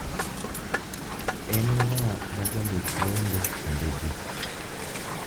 En ng'a majandik wende kindegi